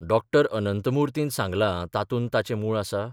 डॉ अनंतमुर्तीन सांगलां तातूंत ताचें मूळ आसा?